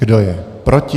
Kdo je proti?